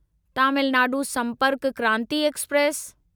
Tamil Nadu Sampark Kranti express